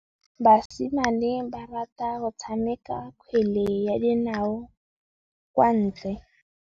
Basimane ba rata go tshameka kgwele ya dinaô kwa ntle.